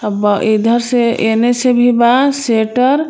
अब इधर से एने से भी बा सटर .